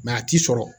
a ti sɔrɔ